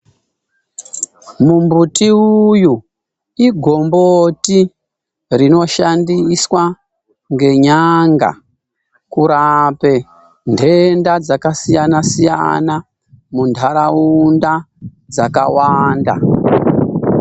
Mumbuti uyu igomboti rinoshandiswa ngenyanga kurape ntenda dzakasiyana-siyana, muntaraunda dzakawanda.